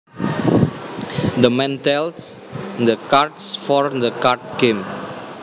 The man dealt the cards for the card game